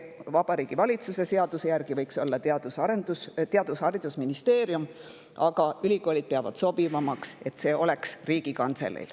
Vabariigi Valitsuse seaduse järgi võiks see olla Haridus- ja Teadusministeerium, aga ülikoolid peavad sobivamaks, et see oleks Riigikantselei.